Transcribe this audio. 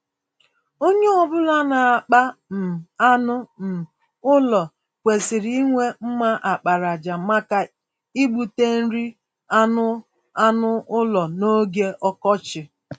Onye ọ bụla na-akpa um anụ um ụlọ kwesịrị inwe mma àkpàràjà, maka igbute nri anụ anụ ụlọ n'oge ọkọchị.